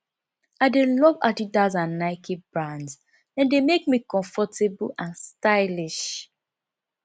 i dey love adidas and and nike brands dem dey make me comfortable and stylish